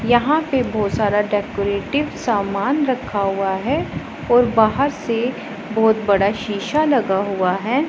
यहां पे बहोत सारा डेकोरेटिव सामान रखा हुआ हैं और बाहर से बहोत बड़ा शीशा लगा हुआ हैं।